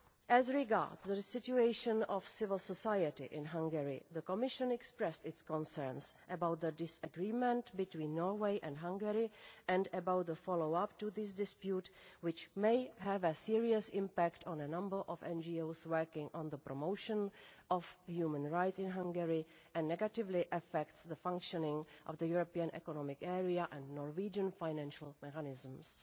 As regards the situation of civil society in Hungary, the Commission expressed its concerns about the disagreement between Norway and Hungary and about the follow up to this dispute, which may have a serious impact on a number of NGOs working on the promotion of human rights in Hungary, and negatively affect the functioning of the European Economic Area and Norwegian financial mechanisms.